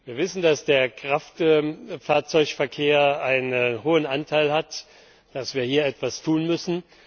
Wir wissen, dass der Kraftfahrzeugverkehr einen hohen Anteil hat, dass wir hier etwas tun müssen.